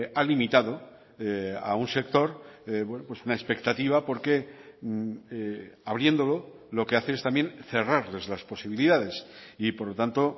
ha limitado a un sector una expectativa porque abriéndolo lo que hace es también cerrarles las posibilidades y por lo tanto